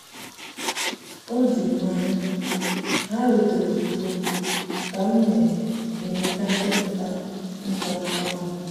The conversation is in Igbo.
o juru m anya—ha rutere ozugbo ka m na-emecha ndepụta ntụaka ọrụ m.